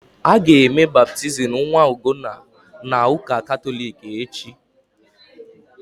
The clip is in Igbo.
Aga eme baptizim nwa Ugonna's na ụka Katọlik echi